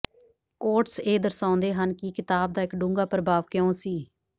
quotes ਇਹ ਦਰਸਾਉਂਦੇ ਹਨ ਕਿ ਕਿਤਾਬ ਦਾ ਇੱਕ ਡੂੰਘਾ ਪ੍ਰਭਾਵ ਕਿਉਂ ਸੀ